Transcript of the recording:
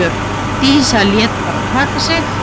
Dísa lét bara taka sig.